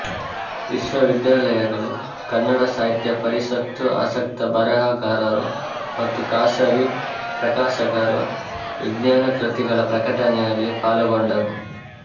ವಿಶ್ವವಿದ್ಯಾಲಯಗಳು ಕನ್ನಡ ಸಾಹಿತ್ಯ ಪರಿಷತ್ತು ಆಸಕ್ತ ಬರೆಹಗಾರರು ಮತ್ತು ಖಾಸಗಿ ಪ್ರಕಾಶಕರು ವಿಜ್ಞಾನ ಕೃತಿಗಳ ಪ್ರಕಟಣೆಯಲ್ಲಿ ಪಾಲುಗೊಂಡರು